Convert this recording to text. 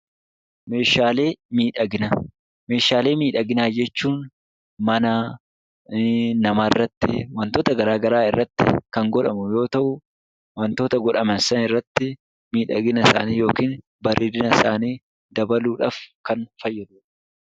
Meeshaalee miidhaginaa Meeshaalee miidhaginaa jechuun mana, nama irratti, wantoota garaagaraa irratti kan godhamu yoo ta'u, wantoota godhaman san irratti miidhagina isaanii (bareedina isaanii) dabaluudhaaf kan fayyaduu dha.